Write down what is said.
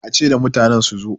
a ce da mutanen su zo!